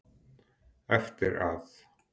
Eftir að